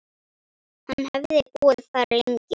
Hann hefði búið þar lengi.